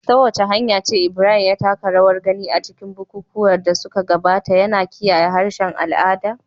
Ta wace hanya ce Ibrahim ya taka rawar gani a cikin bukukuwan da suka gabata, yana kiyaye harshen al'ada?